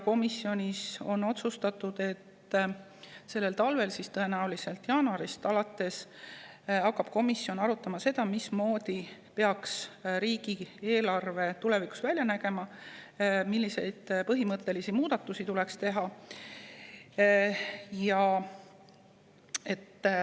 Komisjonis on otsustatud, et sellel talvel – tõenäoliselt jaanuarist alates – hakkab komisjon arutama, mismoodi peaks riigieelarve tulevikus välja nägema ja milliseid põhimõttelisi muudatusi tuleks teha.